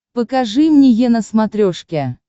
покажи мне е на смотрешке